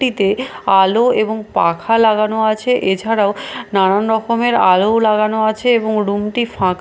আলো এবং পাখা লাগানো আছে এছাড়াও নানারকমের আলোও লাগানো আছে এবং রুমটি ফাঁক --